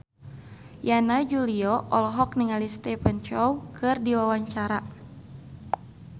Yana Julio olohok ningali Stephen Chow keur diwawancara